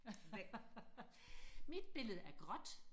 mit billede er gråt